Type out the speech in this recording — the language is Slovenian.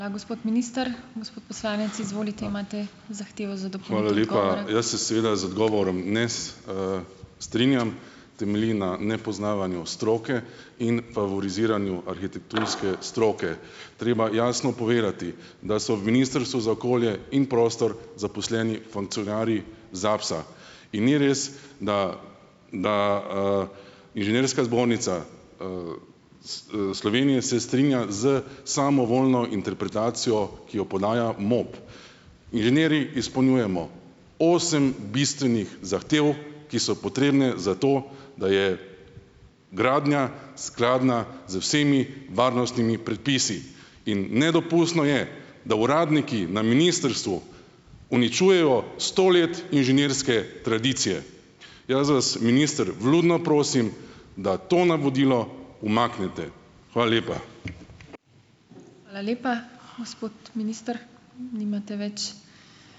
Jaz se seveda z odgovorom danes, strinjam. Temelji na nepoznavanju stroke in favoriziranju arhitekturske stroke. Treba jasno povedati, da so v ministrstvu za okolje in prostor zaposleni funkcionarji ZAPS-a, in ni res, da, da, Inženirska zbornica, Slovenije se strinja s samovoljno interpretacijo, ki jo podaja MOP. Inženirji izpolnjujemo osem bistvenih zahtev, ki so potrebne za to, da je gradnja skladna z vsemi varnostnimi predpisi, in nedopustno je, da uradniki na ministrstvu uničujejo sto let inženirske tradicije. Jaz vas, minister, vljudno prosim, da to navodilo umaknete. Hvala lepa.